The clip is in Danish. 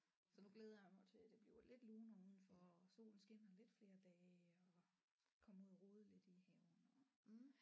Så nu glæder jeg mig til det bliver lidt lunere udenfor og solen skinner lidt flere dage og komme ud og rode lidt i haven og